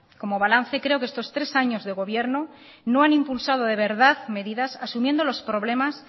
como balance creo que estos tres años de gobierno no han impulsado de verdad medidas asumiendo los problemas